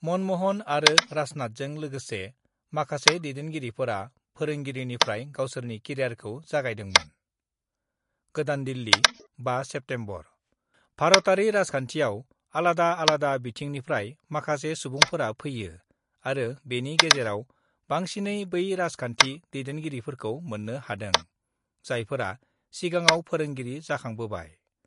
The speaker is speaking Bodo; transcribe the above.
मनमहन आरो राजनाथजों लोगोसे माखासे दैदेनगिरिफोरा फोरोंगिरिनिफ्राय गावसोरनि केरियारखौ जागायदोंमोन गोदान दिल्ली, 5 सेप्तेम्बर : भारतयारि राजखान्थियाव आलादा आलादा बिथिंनिफ्राय माखासे सुबुंफोरा फैयो आरो बेनि गेजेराव बसिनै बै राजखान्थि दैदेनगिरिफोरखौ मोन्नो हादों, जायफोरा सिगाङाव फोरोंगिरि जाखांबोबाय।